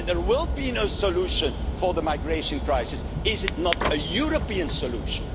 Union. There will be no solution for the migration crisis if it is not a European solution.